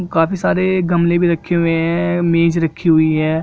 काफी सारे गमले भी रखे हुए है मेज रखी हुई है।